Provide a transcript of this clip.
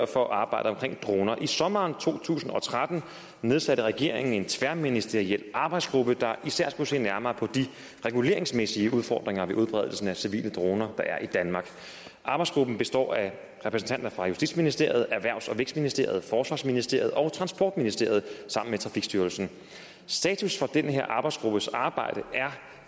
for arbejdet om droner i sommeren to tusind og tretten nedsatte regeringen en tværministeriel arbejdsgruppe der især skulle se nærmere på de reguleringsmæssige udfordringer ved udbredelsen af civile droner der er i danmark arbejdsgruppen består af repræsentanter fra justitsministeriet erhvervs og vækstministeriet forsvarsministeriet og transportministeriet sammen med trafikstyrelsen status for den her arbejdsgruppes arbejde er